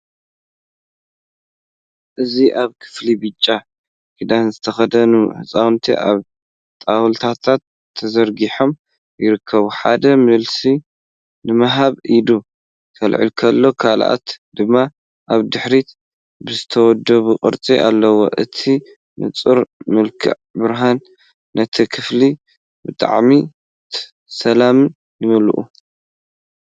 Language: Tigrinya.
እዚ ኣብ ክፍሊ ብጫ ክዳን ዝተኸድኑ ህጻናት ኣብ ጣውላታት ተዘርጊሖም ይርከቡ። ሓደ መልሲ ንምሃብ ኢዱ ከልዕል ከሎ፡ ካልኦት ድማ ኣብ ድሕሪት ብዝተወደበ ቅርጺ ኣለው። እቲ ንጹር መልክዕ ብርሃን ነቲ ክፍሊ ብስምዒት ሰላም ይመልኦ።